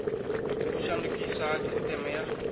u shandukiswa ha sisiteme ya